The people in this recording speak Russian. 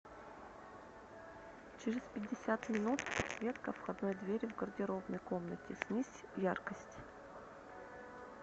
через пятьдесят минут подсветка входной двери в гардеробной комнате снизь яркость